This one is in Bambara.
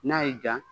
N'a y'i ja